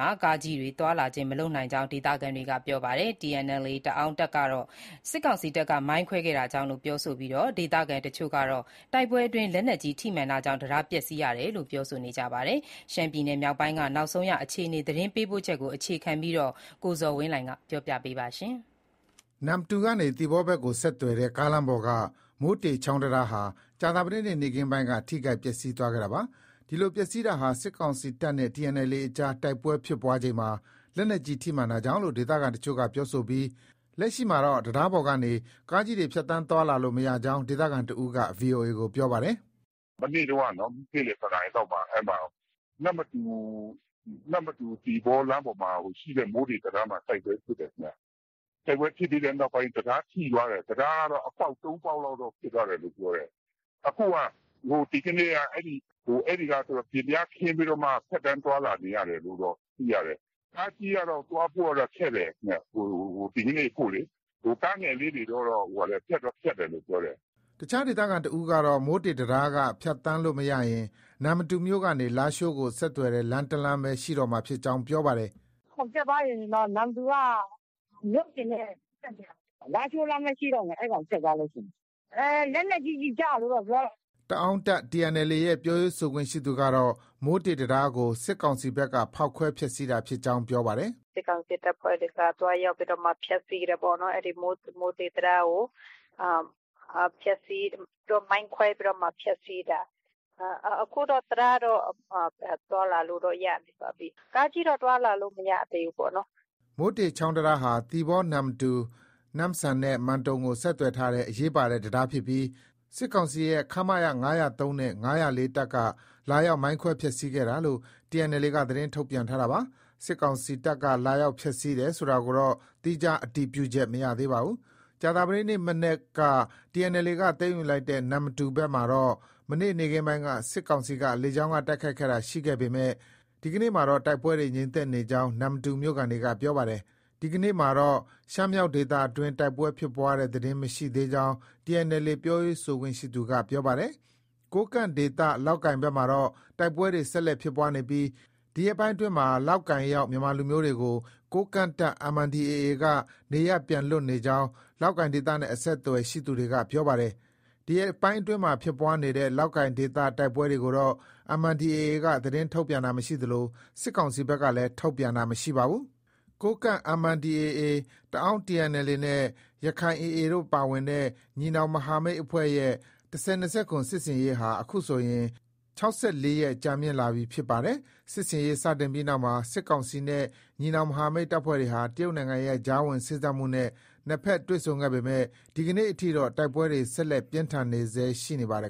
ှာ ကားကြီးတွေ မသွားနိုင်ကြောင်း ဒေသခံတွေက ပြောပါတယ်။ တအာင်းတပ်TNLA ကတော့ စစ်ကောင်စီတပ်က မိုင်းခွဲခဲ့တာကြောင့်လို့ ပြောဆိုပြီး ဒေသခံအချို့က တိုက်ပွဲအတွင်း လက်နက်ကြီး ထိမှန်တာကြောင့် တံတားပျက်စီးကြောင်း ပြောဆိုကြပါတယ်။ ရှမ်းပြည်နယ်မြောက်ပိုင်းက နောက်ဆုံးအခြေအနေ သတင်းပေးပို့ချက်ကို အခြေခံပြီး ကိုဇော်ဝင်းလှိုင်က တင်ပြထားပါတယ်။ နမ္မတူကနေ သီပေါဘက်ကို ဆက်သွယ်တဲ့ ကားလမ်းပေါ်က မိုးတေ ချောင်းတံတားဟာ ကြာသပတေးနေ့ နေ့ခင်းပိုင်းက ထိခိုက် ပျက်စီးခဲ့တာပါ။ ဒီလို ပျက်စီးတာဟာ စစ်ကောင်စီတပ်နဲ့ TNLA အကြား တိုက်ပွဲဖြစ်ပွားချိန်မှာ လက်နက်ကြီး ထိမှန်တာကြောင့်လို့ ဒေသခံအချို့က ပြောဆိုပြီး လက်ရှိမှာတော့ တံတားပေါ်ကနေ ကားကြီးတွေ ဖြတ်သန်းသွားလာလို့ မရကြောင်း ဒေသခံတဦးက VOA ကို ပြောပါတယ်။ “မနေ့တုံးကနော် နေ့လည် တနာရီလောက်မှာ နမ္မတူ - သီပေါလမ်းမှာရှိတဲ့ မိုးတေ တံတားမှာ တိုက်ပွဲဖြစ်တယ်။ တိုက်ပွဲဖြစ်ပြီးတဲ့နောက်ပိုင်း တံတားထိသွားတယ်။ တံတားကတော့ အပေါက် ၃ပေါက်လောက်တော့ ဖြစ်သွားတယ်လို့ ပြောတယ်။ ဒီကနေ့က အဲဒီကနေပြီး ပျဉ်ပြားခင်းပြီးတော့မှ ဖြတ်သန်းသွားလာနေရတယ်လို့တော့ သိရတယ်။ ကားကြီးကတော့ သွားဖို့ကတော့ ခက်တယ်။ ဒီကနေ့ အဖို့ လေ။ ကားငယ်လေးတွေတော့ ဖြတ်တယ်လို့ ပြောတယ်။” အခြားဒေသခံတဦးကတော့ မိုးတေ တံတားက ဖြတ်သန်းလို့မရရင် နမ္မတူမြို့ကနေ လားရှိုးကို ဆက်သွယ်တဲ့ လမ်းတလမ်းပဲ ရှိတော့မှာဖြစ်ကြောင်း ပြောပါတယ်။ “ ပျက်သွားရင် နမ္မတူက မြို့ ပြင်နဲ့ ဆက်သွယ်ရာမှာ လားရှိုးလမ်းပဲ ရှိတော့မယ်။ အဲဒီကောင်ပြတ်သွားရင်။ လက်နက်ကြီး ကျည်ကျတယ်လို့တော့ ပြောတယ်။” တအာင်းတပ် TNLA ရဲ့ ပြောရေးဆိုခွင့်ရှိသူကတော့ မိုးတေ တံတားကို စစ်ကောင်စီဘက်က ဖောက်ခွဲဖျက်ဆီးတာဖြစ်ကြောင်း ပြောပါတယ်။ “ စစ်ကောင်စီတပ်ဖွဲ့တွေက သွားရောက်ပြီးမှ ဖျက်ဆီးတယ်ပေါ့နော်။ အဲဒီ မိုးတေတံတားကို မိုင်းခွဲပြီးမှ ဖျက်ဆီးတာ။ အခုတော့ တံတားတော့ သွားလာလို့တော့ ရနေပါပြီ။ ကားကြီးတော့ သွားလာလို့ မရသေးဘူးပေါ့နော်။” မိုးတေချောင်း တံတားဟာ သီပေါ- နမ္မတူ၊ နမ့်ဆန်နဲ့ မန်တုံကို ဆက်သွယ်ထားတဲ့ အရေးပါတဲ့ တံတားဖြစ်ပြီး စစ်ကောင်စီရဲ့ ခမရ ၅၀၃နဲ့ ၅၀၄ တပ်က လာရောက် မိုင်းခွဲဖျက်ဆီးခဲ့တာလို့ TNLAက သတင်းထုတ်ပြန်ထားတာပါ။ စစ်ကောင်စီတပ်က လာရောက် ဖျက်ဆီးတယ်ဆိုတာကိုတော့ သီးခြား အတည်ပြုချက် မရသေးပါဘူး။ ကြာသပတေးနေ့ မနက်က TNLA က သိမ်းယူလိုက်တဲ့ နမ္မတူဘက်မှာတော့ မနေ့ နေ့ခင်းပိုင်းက စစ်ကောင်စီက လေကြောင်းက တိုက်ခိုက်တာတွေ ရှိခဲ့ပေမဲ့ ဒီကနေ့မှာတော့ တိုက်ပွဲတွေ ငြိမ်သက်နေကြောင်း နမ္မတူ မြို့ခံတွေက ပြောပါတယ်။ ဒီကနေ့မှာတော့ ရှမ်းမြောက်ဒေသအတွင်း တိုက်ပွဲဖြစ်ပွားတဲ့သတင်း မရရှိသေးကြောင်း TNLA ပြောရေးဆိုခွင့်ရှိသူက ပြောပါတယ်။ ကိုးကန့်ဒေသ လောက်ကိုင်ဘက်မှာတော့ တိုက်ပွဲတွေ ဆက်လက်ဖြစ်ပွားနေပြီး ဒီရက်ပိုင်းအတွင်းမှာ လောက်ကိုင်ရောက် ဗမာလူမျိုးတွေကို ကိုးကန့်တပ် MNDAA က နေရပ်ပြန်လွှတ်နေကြောင်း လောက်ကိုင်ဒေသနဲ့ အဆက်အသွယ်ရှိသူတွေက ပြောပါတယ်။ ဒီရက်ပိုင်းဖြစ်ပွားနေတဲ့ လောက်ကိုင်ဒေသ တိုက်ပွဲတွေကိုတော့ MNDAA က သတင်းထုတ်ပြန်တာမရှိသလို စစ်ကောင်စီဘက်ကလည်း ထုတ်ပြန်တာ မရှိပါဘူး။ ကိုးကန့် MNDAA၊ တအာင်း TNLAနဲ့ ရက္ခိုင် AA တို့ပါဝင်တဲ့ ညီနောင်မဟာမိတ်အဖွဲရဲ့ ၁၀၂၇ စစ်ဆင်ရေးဟာ အခုဆိုရင် ၆၄ ရက် ကြာမြင့်လာပြီ ဖြစ်ပါတယ်။ စစ်ဆင်ရေးစတင်ပြီးနောက်မှာ စစ်ကောင်စီနဲ့ ညီနောင်မဟာမိတ်အဖွဲ့တွေဟာ တရုတ်နိုင်ငံရဲ့ ကြားဝင်စေ့စပ်မှုနဲ့ နှစ်ဘက် တွေ့ဆုံခဲ့ပေမဲ့ ဒီကနေ့ အထိတော့ တိုက်ပွဲတွေ ဆက်လက် ပြင်းထန်နေဆဲ ရှိနေပါတယ်